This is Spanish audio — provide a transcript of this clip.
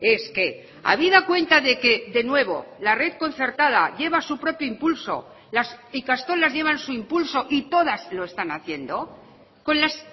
es que habida cuenta de que de nuevo la red concertada lleva su propio impulso las ikastolas llevan su impulso y todas lo están haciendo con las